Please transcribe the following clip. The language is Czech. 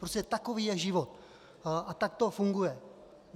Prostě takový je život a tak to funguje.